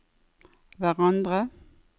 hverandre